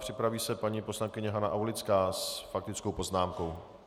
Připraví se paní poslankyně Hana Aulická s faktickou poznámkou.